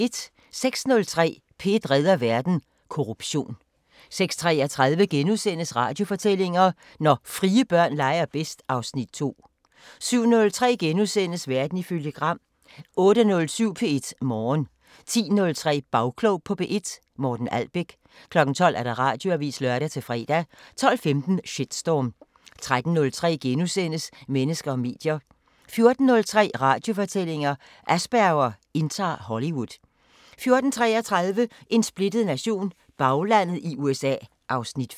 06:03: P1 redder verden: Korruption 06:33: Radiofortællinger: Når frie børn leger bedst (Afs. 2)* 07:03: Verden ifølge Gram * 08:07: P1 Morgen 10:03: Bagklog på P1: Morten Albæk 12:00: Radioavisen (lør-fre) 12:15: Shitstorm 13:03: Mennesker og medier * 14:03: Radiofortællinger: Asperger indtager Hollywood 14:33: En splittet nation – Baglandet i USA (Afs. 5)